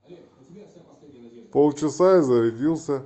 пол часа и зарядился